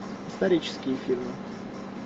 исторические фильмы